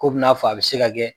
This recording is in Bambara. Ko bɛna'a fɔ a bɛ se ka kɛ.